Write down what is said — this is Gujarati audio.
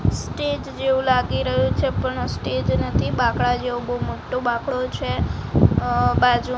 સ્ટેજ જેવુ લાગી રહ્યુ છે પણ સ્ટેજ નથી બાકડા જેવો બો મોટ્ટો બોકડો છે અ બાજુ--